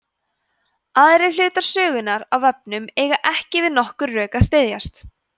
aðrir hlutar sögunnar af vefnum eiga ekki við nokkur rök að styðjast